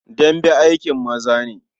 Dambe aikin maza ne.